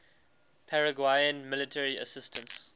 paraguayan military assistance